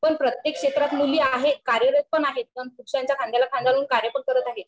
पण प्रत्येक क्षेत्रात मुली आहेत, कार्यरत पण आहेत पण पुरुषांच्या खांद्याला खांदा लावून कार्य पण करत आहेत